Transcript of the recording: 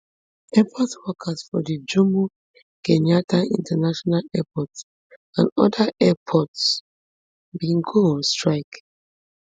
airport workers for di jomo kenyatta international airport and oda airports bin go on strike